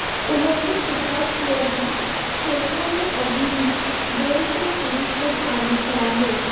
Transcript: उन्होंने स्वीकार किया कि खेतों में अभी भी दो से तीन फुट पानी खड़ा है